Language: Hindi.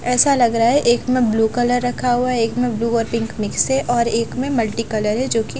ऐसा लग रहा है एक में ब्लू कलर रखा हुआ है एक में ब्लू और पिंक मिक्स है और एक में मल्टी कलर है जो कि --